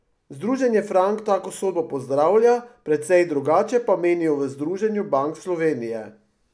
Združenje Frank tako sodbo pozdravlja, precej drugače pa menijo v Združenju bank Slovenije.